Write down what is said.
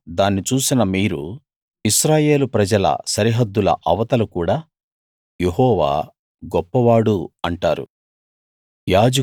కళ్ళారా దాన్ని చూసిన మీరు ఇశ్రాయేలు ప్రజల సరిహద్దుల అవతల కూడా యెహోవా గొప్పవాడు అంటారు